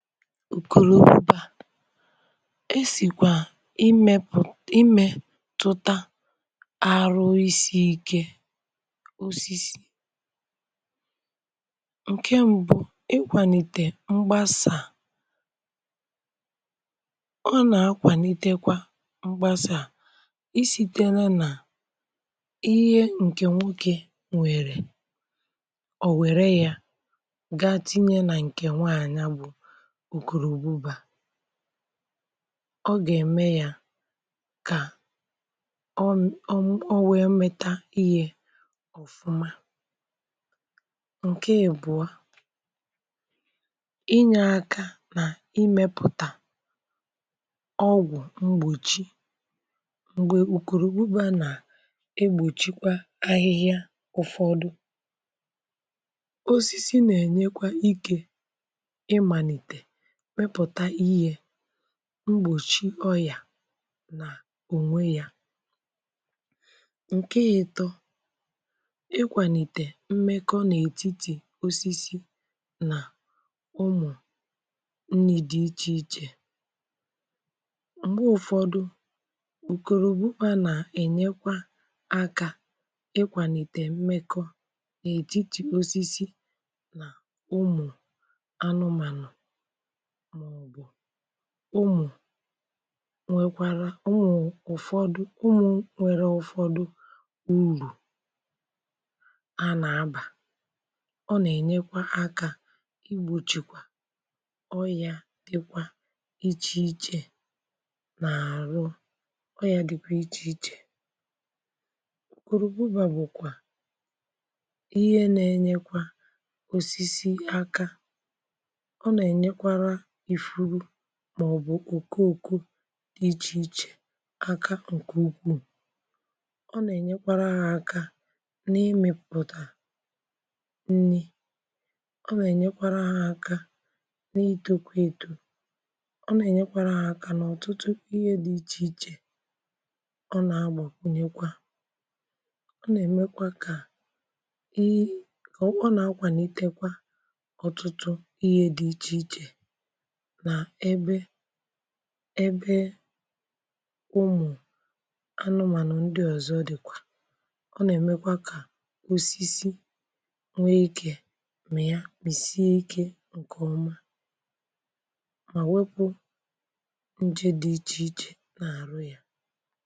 Ukurububa, e sìkwà imėpụ̀ imėtụta arụ isi̇ ike osisi. Nke mbu̇ ikwàlìtè mgbasà ọ nà-akwàlitekwa mgbasà isìtere nà ihe ǹkè nwokė nwèrè ọ̀ wère yȧ ga tinye nà ǹkè nwaànya bu ukorububa. Ọ gà-ème ya kà ọ ọ ọ wee mmita ihe ọfụma, ǹke ibụa, inyė aka nà imėpụ̀tà ọgwụ̀ mgbochi m̀gbè òkùrùbuba nà egbòchikwa ahịhịa ụ̀fọdụ, osisi nà-ènyekwa imanite mịpụ̀ta ihe mgbòchi ọyà nà ònwe yȧ. Nke ìtọ, ịkwànìtè mmekọ n'ètitì osisi nà ụmụ̀ nrì di ichè ichè, m̀gbè ụ̀fọdụ ukurububa nà-ènyekwa akȧ ịkwànìtè mmekọ nà ètitì osisi nà ụmụ̀ anụmànụ̀, ụmụ̀ nwekwàrà ụmụ̀ ụ̀fọdụ, ụmụ̀ nwere ụ̀fọdụ urù a nà-abà, ọ nà-ènyekwa akȧ igbòchìkwà ọyà dịkwa ichè ichè, ọ nà-ènyekwa aka igbòchìkwa oya dị iche iche n'àrụ, ọyà dịkwa ichè ichè ukụrụbuba bụ̀kwà ihe nà-enyekwa osisi aka, ọ nà-ènyekwara ìfuru maòbù okooko iche iche aka ǹkè ukwuù, ọ nà-ènyekwara ha aka nà imepùtà nni, ọ nà-ènyekwara ha aka n'itokwa eto, ọ nà-ènyekwara ha aka nà ọ̀tụtụ ihe dị ichè ichè, ọ nà-agbàkwunyekwa ọ nà-èmekwa kà ị ri ona-akwanitekwa ọtụtụ ihe dị iche iche n'ebe ebe ụmụ anụmanụ ndị ọzọ dịkwa, ọ nà-èmekwa ka osisi nwee ike mịa sie ike nke ọma ma wepụ nje dị iche iche n'aru ya.